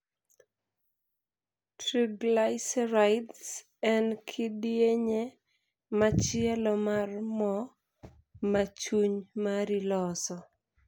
Triglycerides' en kidienje machielo mar moo ma chuny mari loso.